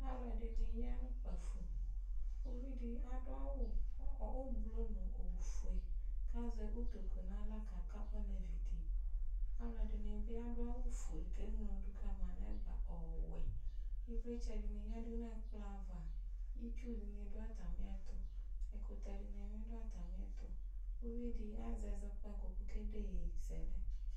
Alʋɛdɩnɩ ya nʋ ukpǝfo Uvi dɩ adʋ awʋ ʋblo nʋ ofue kʋ azɛ utoku nʋ aɣla kaka olevi dɩ Alʋɛdɩnɩ bɩ adʋ awʋfue kʋ eŋlo dʋ ka ma nʋ ɛgba ɔwɛ Ɩvlɩtsɛ dɩnɩ yǝdu nʋ ɛkplɔ ava Itsu dɩnɩ dʋ atamɩɛtʋ Ɛkʋtɛ dɩnɩ bɩ dʋ atamɩɛtʋ Uvi dɩ azɛ ɛzɔkpako kʋ ɔkede iyeyezɛlɛ